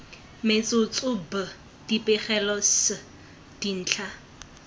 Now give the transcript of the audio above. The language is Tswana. metsotso b dipegelo c dintlha